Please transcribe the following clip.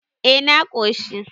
eh na koshi